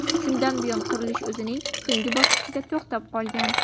Shundan buyon qurilish o‘zining so‘nggi bosqichida to‘xtab qolgan.